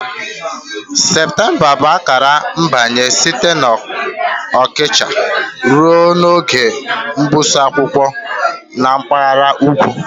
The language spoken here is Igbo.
Septemba bụ akara mgbanwe site na ọkọchị ruo n'oge mgbụsị akwụkwọ na mpaghara ugwu